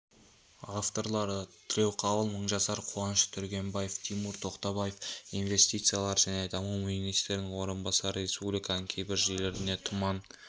авторлары тілеуқабыл мыңжасар қуаныш түргенбаев тимур тоқтабаев инвестициялар және даму министрінің орынбасары республиканың кейбір жерлеріне тұман